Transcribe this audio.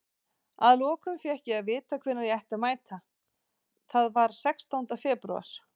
Að lokum fékk ég að vita hvenær ég ætti að mæta, það var sextánda febrúar.